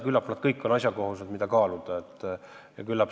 Küllap need kõik on asjakohased ja neid tuleks kaaluda.